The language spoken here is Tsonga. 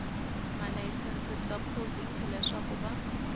malayisense bya provhinsi leswaku va